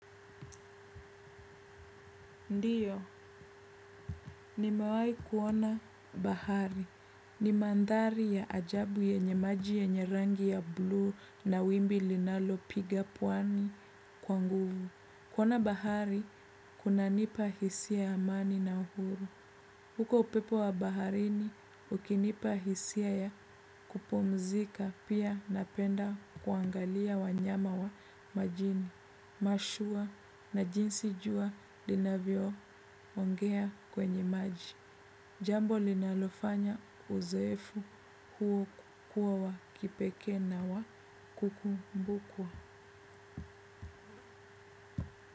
Ndiyo, nimewai kuona bahari. Ni mandhari ya ajabu yenye maji yenye rangi ya bluu na wimbi linalopiga pwani kwa nguvu. Kuona bahari, kunanipa hisia amani na uhuru. Huko upepo wa baharini, ukinipa hisia ya kupumzika pia napenda kuangalia wanyama wa majini. Mashua na jinsi jua linavyoongea kwenye maji. Jambo linalofanya uzoefu huo kuwa wa kipekee na wa kukumbukwa.